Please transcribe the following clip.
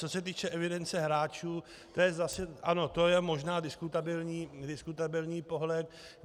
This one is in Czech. Co se týče evidence hráčů, to je zase, ano, to je možná diskutabilní pohled.